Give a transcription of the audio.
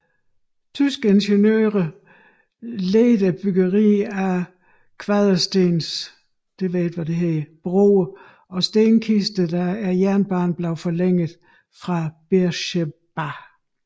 Tyske ingeniører ledede byggeriet af kvaderstens broer og stenkister da jernbanen blev forlænget fra Beersheba